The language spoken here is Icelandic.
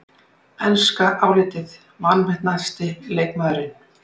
Enska álitið: Vanmetnasti leikmaðurinn?